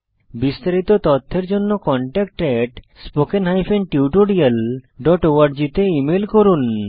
বিস্তারিত তথ্যের জন্য contactspoken tutorialorg তে ইমেল করুন